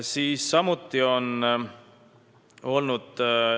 Seda on ka tehtud.